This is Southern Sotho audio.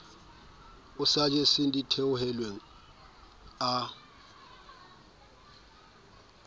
a sa jeseng ditheohelang a